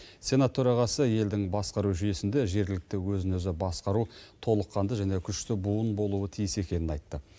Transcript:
сенат төрағасы елдің басқару жүйесінде жергілікті өзін өзі басқару толыққанды және күшті буын болуы тиіс екенін айтты